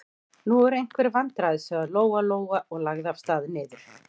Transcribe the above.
Nú eru einhver vandræði, sagði Lóa-Lóa og lagði af stað niður.